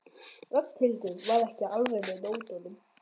Ragnhildur var ekki alveg með á nótunum.